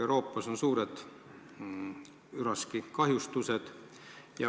Euroopas on suured üraskikahjustused.